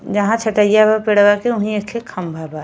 जहां छटइया हो पेड़वा के उहीं एक खे खम्भा बा।